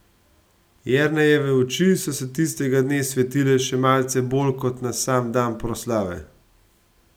Jernejeve oči so se tistega dne svetile še malce bolj kot na sam dan proslave.